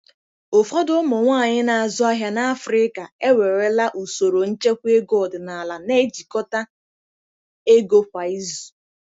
Ụfọdụ ụmụ nwanyị na-azụ ahịa n'Afrika ewerela usoro nchekwa ego ọdịnala, na-ejikọta ego kwa izu.